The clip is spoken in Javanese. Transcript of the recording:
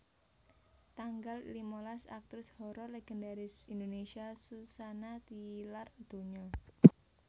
Tanggal limalas Aktris horor legendaris Indonésia Suzanna tilar donya